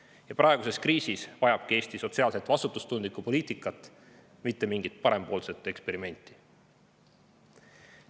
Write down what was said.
Ja praeguses kriisis vajabki Eesti sotsiaalselt vastutustundlikku poliitikat, mitte mingit parempoolset eksperimenti.